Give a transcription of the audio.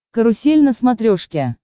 карусель на смотрешке